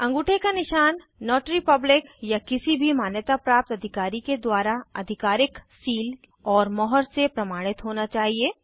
अंगूठे का निशान नोटरी पब्लिक या किसी भी मान्यताप्राप्त अधिकारी के द्वारा आधिकारिक सील और मुहर से प्रमाणित होना चाहिए